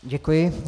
Děkuji.